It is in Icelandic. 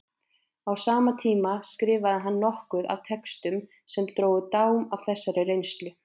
Á sama tíma skrifaði hann nokkuð af textum sem drógu dám af þessari reynslu.